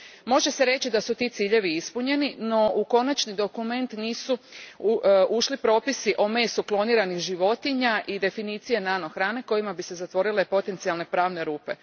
Može se reći da su ti ciljevi ispunjeni, no u konačni dokument nisu ušli propisi o mesu kloniranih životinja i definicije nano hrane kojima bi se zatvorile potencijalne pravne rupe.